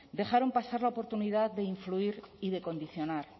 dejaron pasar la oportunidad de influir y de condicionar